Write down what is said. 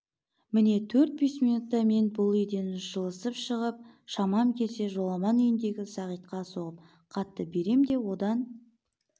міне төрт-бес минутта мен бұл үйден жылысып шығып шамам келсе жоламан үйіндегі сағитқа соғып хатты берем де одан